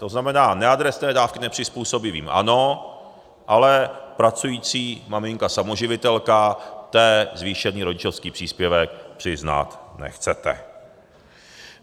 To znamená neadresné dávky nepřizpůsobivým ano, ale pracující maminka samoživitelka, té zvýšený rodičovský příspěvek přiznat nechcete.